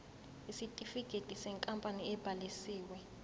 isitifikedi senkampani ebhalisiwe